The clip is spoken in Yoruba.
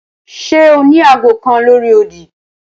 Ṣe o ni aago kan lori odi?